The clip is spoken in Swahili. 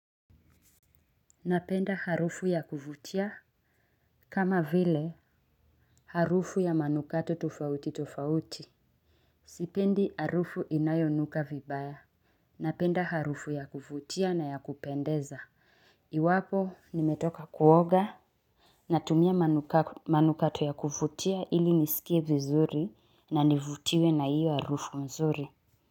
Napenda harufu ya kuvutia. Kama vile, harufu ya manukato tofauti tofauti. Sipendi harufu inayonuka vibaya. Napenda harufu ya kuvutia na ya kupendeza. Iwako nimetoka kuoga. Natumia manukato ya kuvutia ili nisikie vizuri na nivutiwe na hiyo harufu nzuri.